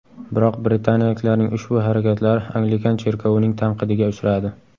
Biroq britaniyaliklarning ushbu harakatlari Anglikan cherkovining tanqidiga uchradi.